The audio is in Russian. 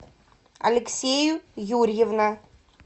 алексею юрьевна